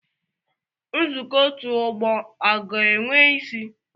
Nzukọ otu ọgbọ ọ ga-enwe isi?